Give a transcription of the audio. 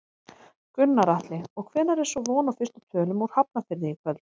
Gunnar Atli: Og hvenær er svo von á fyrstu tölum úr Hafnarfirði í kvöld?